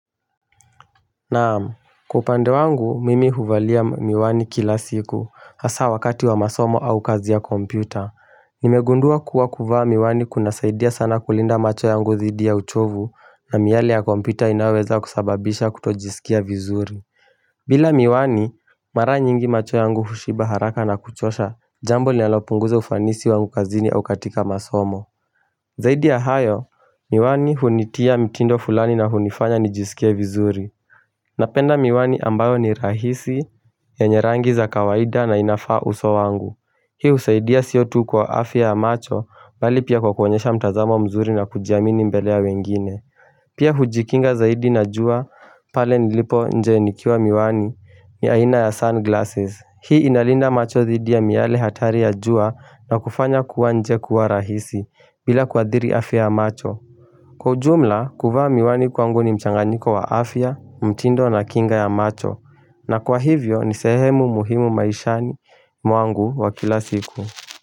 Naam, kwa upande wangu mimi huvalia miwani kila siku hasa wakati wa masomo au kazi ya kompyuta. Nimegundua kuwa kuvaa miwani kunasaidia sana kulinda macho yangu dhidi ya uchovu na miale ya kompyuta inaweza kusababisha kutojisikia vizuri. Bila miwani, mara nyingi macho yangu hushiba haraka na kuchosha jambo linalopunguza ufanisi wangu kazini au katika masomo. Zaidi ya hayo, miwani hunitia mitindo fulani na hunifanya nijisikie vizuri. Napenda miwani ambayo ni rahisi yenye rangi za kawaida na inafaa uso wangu Hii husaidia sio tu kwa afya macho bali pia kwa kuonyesha mtazamo mzuri na kujiamini mbele ya wengine Pia hujikinga zaidi na jua pale nilipo nje nikiwa miwani ya aina ya sunglasses Hii inalinda macho dhidi ya miale hatari ya jua na kufanya kuwa nje kuwa rahisi bila kuadhiri afya macho Kwa ujumla, kuvaa miwani kwangu ni mchanganyiko wa afya, mtindo na kinga ya macho, na kwa hivyo ni sehemu muhimu maishani mwangu wa kila siku.